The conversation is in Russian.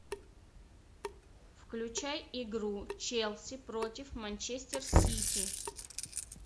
включай игру челси против манчестер сити